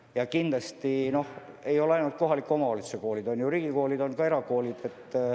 Ja meil ei ole ainult kohaliku omavalitsuse koolid, on ka riigikoolid ja erakoolid.